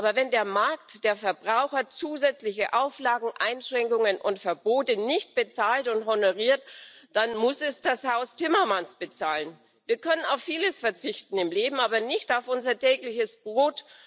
Aber wenn der Markt, der Verbraucher, zusätzliche Auflagen, Einschränkungen und Verbote nicht bezahlt und honoriert, dann muss es das Haus Timmermans bezahlen. Wir können auf vieles verzichten im Leben, aber nicht auf unser tägliches Brot.